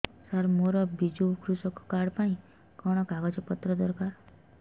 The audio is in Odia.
ସାର ମୋର ବିଜୁ କୃଷକ କାର୍ଡ ପାଇଁ କଣ କାଗଜ ପତ୍ର ଦରକାର